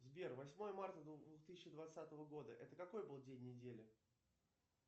сбер восьмое марта двух тысячи двадцатого года это какой был день недели